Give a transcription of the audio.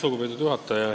Lugupeetud juhataja!